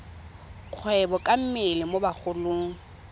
kgwebo ka mmele mo bagolong